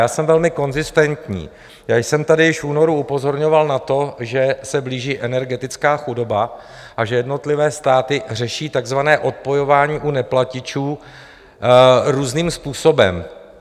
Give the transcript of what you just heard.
Já jsem velmi konzistentní, já jsem tady již v únoru upozorňoval na to, že se blíží energetická chudoba a že jednotlivé státy řeší takzvané odpojování u neplatičů různým způsobem.